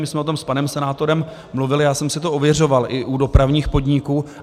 My jsme o tom s panem senátorem mluvili, já jsem si to ověřoval i u dopravních podniků.